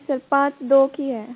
नहीं सर पांच दो की है